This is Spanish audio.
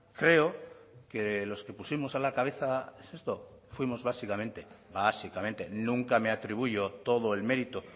creo que los que pusimos a la cabeza esto fuimos básicamente básicamente nunca me atribuyo todo el mérito